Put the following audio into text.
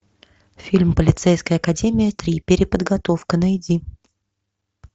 фильм полицейская академия три переподготовка найди